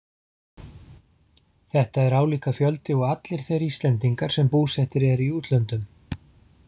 Þetta er álíka fjöldi og allir þeir Íslendingar sem búsettir eru í útlöndum.